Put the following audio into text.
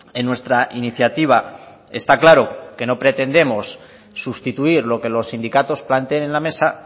en nuestra iniciativa está claro que no pretendemos sustituir lo que los sindicatos planteen en la mesa